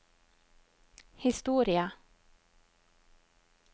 historie